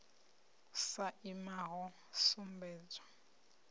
a sa imi ho sumbedzwa